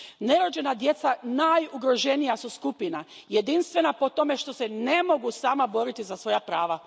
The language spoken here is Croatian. Nerođena djeca najugroženija su skupina, jedinstvena po tome što se ne mogu sama boriti za svoja prava.